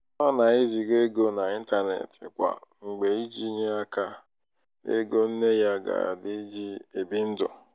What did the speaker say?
ọ na-eziga ego n'intanetị kwa mgbe iji nye aka n'ego nne ya agadi ji ebi ndụ.